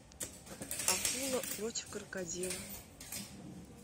акула против крокодила